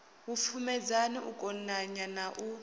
vhupfumedzani u konanya na u